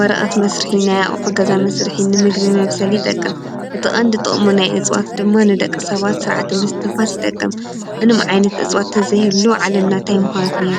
ወረቐት መሥርኂ ናይ ኸገዛ መሥርኂን ንምግብል መብሰል ይጠቅም እቲ ቐንድ ጥቕሙ ናይ እጽዋት ድማ ንደቂ ሰባት ሥርዓተ ምስትንፋስ ይጠቅም ።ምንም ዓይነት እጽዋትተዘይሔሉ ዓለምናታ ይምኾነት ነይ።